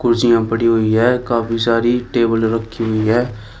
कुर्सियां पड़ी हुई है काफी सारी टेबले रखी हुई है।